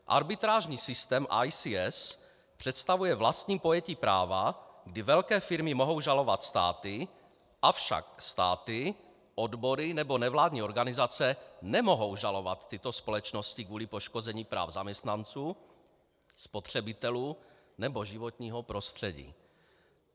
Arbitrážní systém ICS představuje vlastní pojetí práva, kdy velké firmy mohou žalovat státy, avšak státy, odbory nebo nevládní organizace nemohou žalovat tyto společnosti kvůli poškození práv zaměstnanců, spotřebitelů nebo životního prostředí.